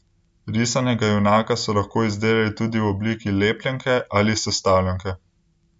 Risanega junaka so lahko izdelali tudi v obliki lepljenke ali sestavljanke.